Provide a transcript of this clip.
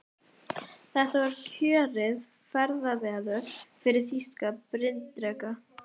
Þetta var kjörið ferðaveður fyrir þýska bryndreka.